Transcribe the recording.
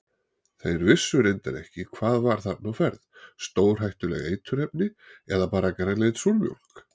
Þeir vissu reyndar ekki hvað var þarna á ferð, stórhættuleg eiturefni eða bara grænleit súrmjólk?